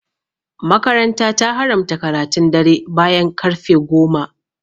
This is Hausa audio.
makaranta ta haramta karatun dare bayan karfe goma